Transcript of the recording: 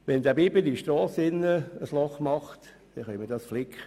Wenn der Biber auf der Strasse ein Loch gräbt, können wir dieses Loch flicken.